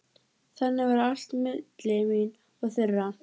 Þannig var allt milli mín og þeirra.